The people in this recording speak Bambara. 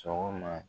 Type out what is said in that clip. Sɔgɔma